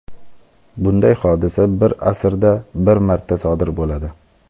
Bunday hodisa bir asrda bir marta sodir bo‘ladi.